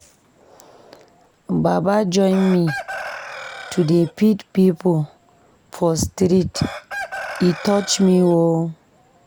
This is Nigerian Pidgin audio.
Baba don join me to dey feed pipo for street, e touch me o.